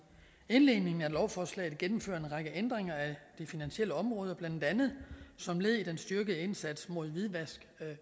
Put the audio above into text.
indledningen af lovforslaget gennemfører en række ændringer af det finansielle område blandt andet som led i den styrkede indsats mod hvidvask